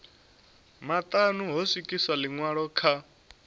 maṱanu ho swikiswa ḽiṅwalo kha